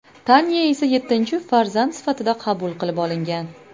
Tanya esa yettinchi farzand sifatida qabul qilib olingan.